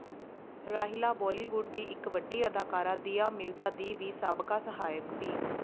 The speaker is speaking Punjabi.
ਰਾਹੀਲਾ ਬਾਲੀਵੁੱਡ ਦੀ ਇੱਕ ਵੱਡੀ ਅਦਾਕਾਰਾ ਦੀਆ ਮਿਰਜ਼ਾ ਦੀ ਸਾਬਕਾ ਸਹਾਇਕ ਵੀ